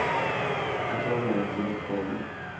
atooko irkeek pokin